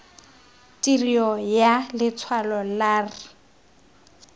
tirio ya letshwalo la r